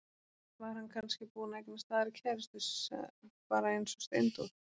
Var hann kannski búinn að eignast aðra kærustu, bara eins og Steindór?